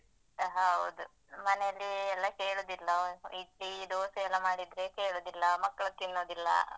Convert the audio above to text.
ಹೌದು. ಮನೆಯಲ್ಲಿ ಎಲ್ಲ ಕೇಳುದಿಲ್ಲ ಇಡ್ಲಿ, ದೋಸೆ ಎಲ್ಲ ಮಾಡಿದ್ರೆ ಸೇರುದಿಲ್ಲ, ಮಕ್ಳು ತಿನ್ನುದಿಲ್ಲ.